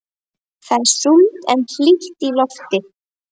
Það er súld en hlýtt í lofti.